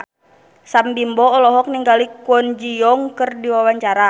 Sam Bimbo olohok ningali Kwon Ji Yong keur diwawancara